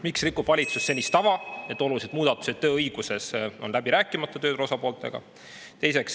Miks rikub valitsus senist tava ja olulised muudatused tööõiguses on läbi rääkimata tööturu osapooltega?